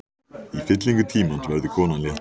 Í fyllingu tímans verður konan léttari.